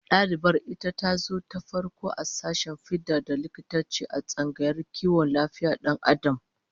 Dalibar ita tazo gwarzuwa ta farko a sashen fida da likitanci, a tsangayar kiwon lafiyar Dan Adam